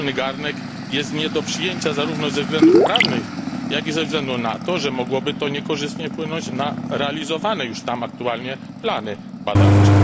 wspólny garnek jest nie do przyjęcia zarówno ze względów prawnych, jak i ze względu na to, że mogłoby to niekorzystnie wpłynąć na realizowane już tam aktualnie plany badawcze.